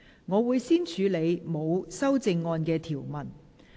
我會先處理沒有修正案的條文。